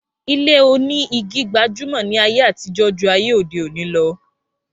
Ilé oní igi gbajúmọ̀ ni ayé àtijó jù ayé òdeòní lọ